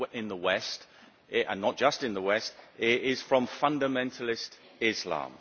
the West and not just in the West is from fundamentalist Islam.